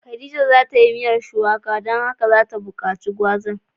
Khadijah za ya shirya miyan shuwaka ,don haka za ta bukace gwazan.